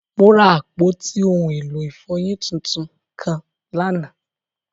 Mo ra apọti ohun elo ifọyin títún kan lánà.